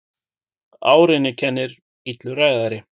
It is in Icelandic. Árinni kennir illur ræðari.